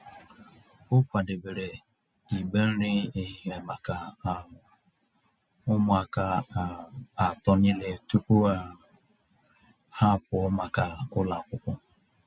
O kwadebere igbe nri ehihie maka um ụmụaka um atọ niile tupu um ha apụọ maka ụlọ akwụkwọ.